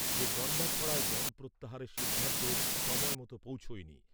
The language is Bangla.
যে গন্ডাছড়ায় বনধ প্রত্যাহারের সিদ্ধান্ত সময় মতো পৌছায়নি।